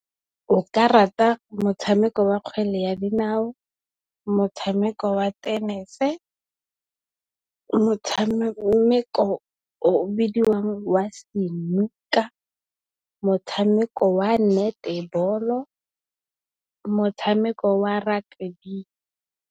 Nka rata motshameko wa kgwele ya dinao, motshameko wa tenese, motshameko o bidiwang wa senuka, motshameko wa netebolo, motshameko wa rakebi.